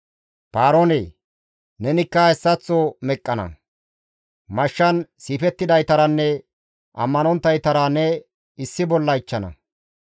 «Paaroone! Nenikka hessaththo meqqana; mashshan siifettidaytaranne ammanonttaytara ne issi bolla ichchana.